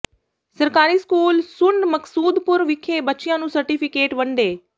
ਸਰਕਾਰੀ ਸਕੂਲ ਸੂੰਢ ਮਕਸੂਦਪੁਰ ਵਿਖੇ ਬੱਚਿਆਂ ਨੂੰ ਸਰਟੀਫ਼ਿਕੇਟ ਵੰਡੇ